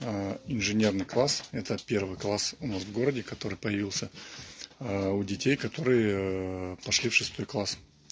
инженерный класс это первый класс у нас в городе который появился у детей которые пошли в шестой класс